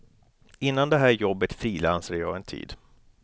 Innan det här jobbet frilansade jag en tid.